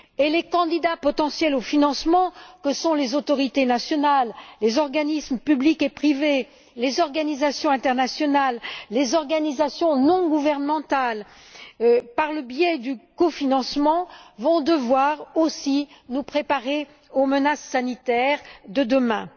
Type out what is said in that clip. Les candidats potentiels au financement que sont les autorités nationales, les organismes publics et privés, les organisations internationales, les organisations non gouvernementales, par le biais du cofinancement, vont devoir aussi nous préparer aux menaces sanitaires de demain.